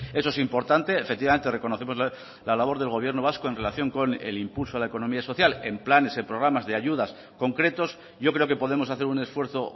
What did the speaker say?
eso es importante efectivamente reconocemos la labor del gobierno vasco en relación con el impulso a la economía social en planes en programas de ayudas concretos yo creo que podemos hacer un esfuerzo